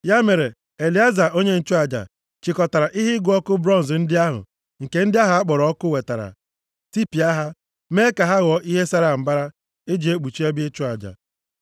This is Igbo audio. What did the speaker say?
Ya mere Elieza, onye nchụaja, chịkọtara ihe ịgụ ọkụ bronz ndị ahụ nke ndị ahụ a kpọrọ ọkụ wetara, tipịa ha, mee ka ha ghọọ ihe sara mbara e ji ekpuchi ebe ịchụ aja,